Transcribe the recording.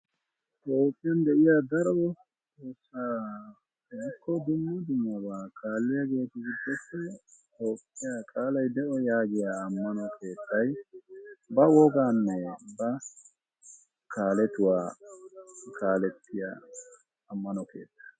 Toophiyaan de'iyaa daro eqota woykko dumma dummaaba kaaliyaagetu giddoppe qaalay de'o yaagiyaa ammano keettay ba woganne ba kaaletuwaa kaaletiyaa ammano keettaa.